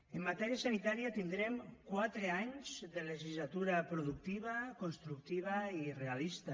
en matèria sanitària tindrem quatre anys de legislatura productiva constructiva i realista